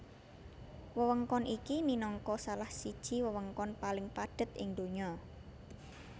Wewengkon iki minangka salah siji wewengkon paling padhet ing donya